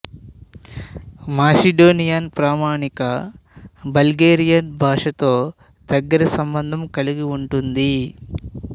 Macedonian ప్రామాణిక Bulgarian భాషతో దగ్గరి సంబంధం కలిగి ఉంటుంది